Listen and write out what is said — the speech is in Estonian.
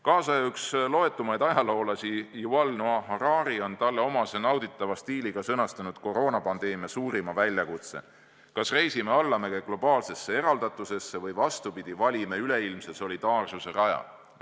Kaasaja loetuimaid ajaloolasi Yuval Noah Harari on talle omases nauditavas stiilis sõnastanud koroonapandeemia suurima väljakutse: me kas reisime allamäge globaalsesse eraldatusesse või vastupidi, valime üleilmse solidaarsuse raja.